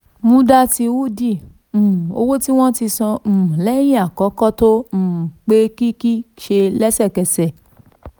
muddati hundi um owó tí wọ́n san um lẹ́yìn àkọ́kọ́ tó um pé kíkí ṣe lẹ́sẹ̀kẹsẹ̀.